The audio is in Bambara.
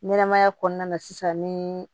Ɲɛnɛmaya kɔnɔna na sisan ni